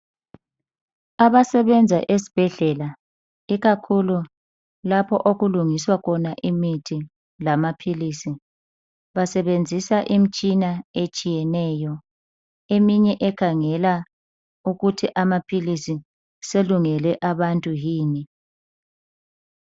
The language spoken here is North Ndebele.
Abasebenza esibhedlela ikakhulu lapho okulungiswa khona imithi lamaphilisi basebenzisa imitshina etshiyeneyo, eminye ekhangela ukuthi amaphilisi selungele abantu yini.